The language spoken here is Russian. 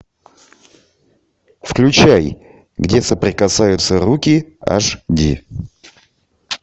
включай где соприкасаются руки аш ди